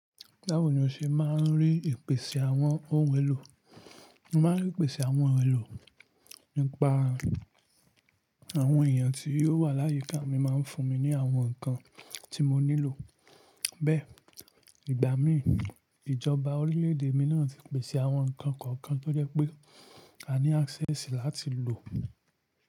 Báwo ni o ṣe máa ń rí ìpèsè àwọn ohun èlò? Mo máa ń rí ìpèsè àwọn ohun èlò nípa àwọn èèyàn tí ó wà láyíká mi máa ń fún mi ní àwọn nkan tí mo nílò. Bẹ́ẹ̀, ìgbà míì ìjọba orílẹ̀ èdè mi náà ti pèsè àwọn nǹkan kọ̀ọ̀kan tó jẹ́ pé a ní access láti lò.